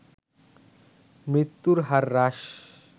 মৃত্যু হার হ্রাস